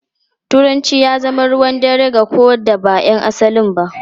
Turanci ya zama ruwan dare ga ko da ba ’yan asalin ba.